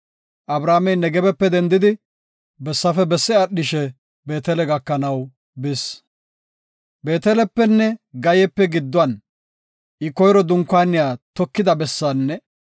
Abramey Nagebepe dendidi bessafe besse aadhishe Beetele gakanaw bis. Beetelepenne Gayepe giddon I koyro dunkaaniya tokida bessaanne